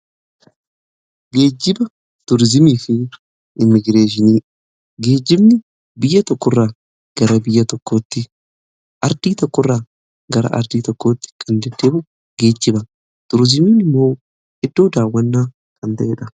Geejjiba tuurizimii fi immigireeshinii geejjibni biyya ardii tokko irraa gara ardii tokkootti kan deddeemu geejjiba turizimiin immoo iddoo daawwannaa kan ta'eedha.